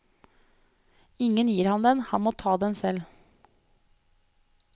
Ingen gir ham den, han må ta en selv.